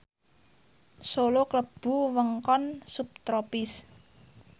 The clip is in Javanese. Solo klebu wewengkon subtropis